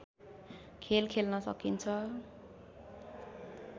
खेल खेल्न सकिन्छ